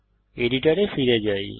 এডিটরে ফিরে যাই